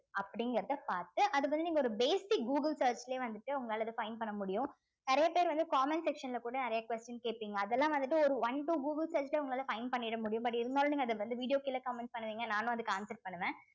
அப்படிங்கறதை பார்த்து அது வந்து நீங்க ஒரு basic google search லயே வந்துட்டு உங்களால அது find பண்ண முடியும் நிறைய பேர் வந்து comment section ல கூட நிறைய question கேட்பீங்க அதெல்லாம் வந்துட்டு ஒரு one to google உங்களால find பண்ணிட முடியும் but இருந்தாலும் நீங்க அத வந்து video க்கு கீழே comment பண்ணுவீங்க நானும் அதுக்கு answer பண்ணுவேன்